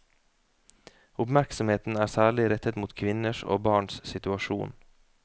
Oppmerksomheten er særlig rettet mot kvinners og barns situasjon.